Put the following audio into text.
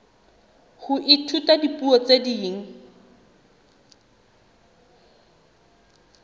ho ithuta dipuo tse ding